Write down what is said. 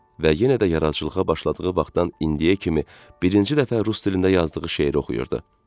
Və yenə də yaradıcılığa başladığı vaxtdan indiyə kimi birinci dəfə rus dilində yazdığı şeiri oxuyurdu.